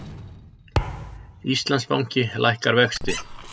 Íslandsbanki lækkar vexti